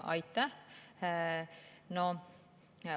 Aitäh!